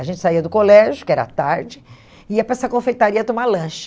A gente saía do colégio, que era tarde, ia para essa confeitaria tomar lanche.